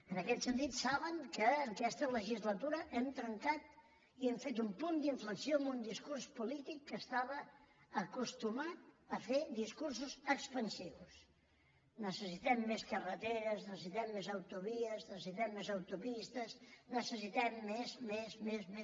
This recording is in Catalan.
en aquest sentit saben que en aquesta legislatura hem trencat i hem fet un punt d’inflexió amb un discurs polític que estava acostumat a fer discursos expansius necessitem més carreteres necessitem més autovies necessitem més autopistes necessitem més més més més